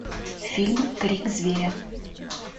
фильм крик зверя